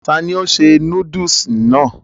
ta ni ó ṣe núdùsì náà?